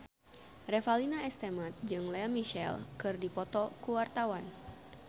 Revalina S. Temat jeung Lea Michele keur dipoto ku wartawan